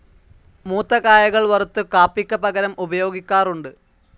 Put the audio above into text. മൂത്ത കായകൾ വറുത്ത് കാപ്പിക്ക് പകരം ഉപയോഗിക്കാറുണ്ട്.